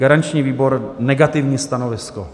Garanční výbor: negativní stanovisko.